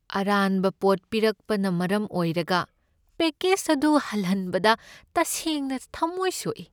ꯑꯔꯥꯟꯕ ꯄꯣꯠ ꯄꯤꯔꯛꯄꯅ ꯃꯔꯝ ꯑꯣꯏꯔꯒ ꯄꯦꯛꯀꯦꯖ ꯑꯗꯨ ꯍꯜꯍꯟꯕꯗ ꯇꯁꯦꯡꯅ ꯊꯃꯣꯢ ꯁꯣꯛꯢ꯫